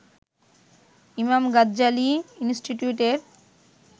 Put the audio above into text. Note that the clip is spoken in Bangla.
ইমাম গাজ্জালি ইন্সটিটিউটের